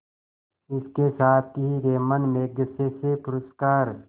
इसके साथ ही रैमन मैग्सेसे पुरस्कार